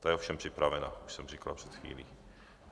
Ta je ovšem připravena, už jsem říkal před chvílí.